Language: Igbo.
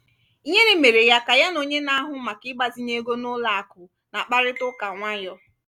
ihere mere ya ka ya na onye na-ahụ maka ịgbazinye ego n'ụlọ akụ na-akparịta ụka nwayọọ.